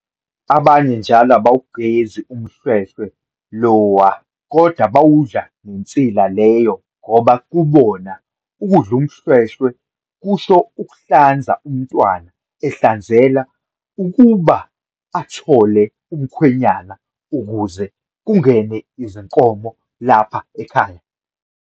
Abanye njalo abawugezi umhlwehlwe Iowa kodwa bawudla nensila leyo ngoba kubona ukudla umhlwehlwe kusho ukuhlanza umntwana ehlanzelwa ukuba athole umkhwenyana ukuze kungene izinkomo lapha ekhaya.